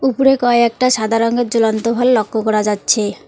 উপরে কয়েকটা সাদা রংয়ের ঝুলন্ত ভল লক্ষ করা যাচ্ছে।